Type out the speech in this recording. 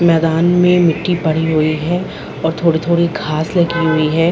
मैदान में मिट्टी पड़ी हुई है और थोड़ी-थोड़ी घाँस लगी हुई है।